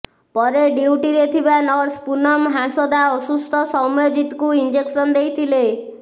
ପରେ ଡ୍ୟୁଟିରେ ଥିବା ନର୍ସ ପୁନମ ହାଁସଦା ଅସୁସ୍ଥ ସୌମ୍ୟଜିତକୁ ଇଞ୍ଜେକ୍ସନ ଦେଇଥିଲେ